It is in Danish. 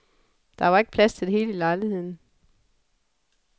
Der var ikke plads til det hele i lejligheden.